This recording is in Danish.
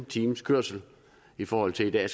times kørsel i forhold til i dag